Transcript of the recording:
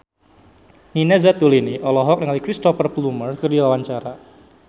Nina Zatulini olohok ningali Cristhoper Plumer keur diwawancara